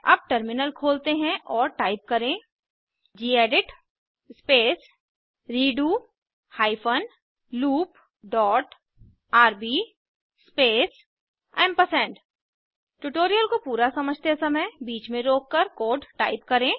अब टर्मिनल खोलते हैं और टाइप करें gedit space redo hyphen loop dot rb space amp tutorial को पूरा समझते समय बीच में रोककर कोड टाइप करें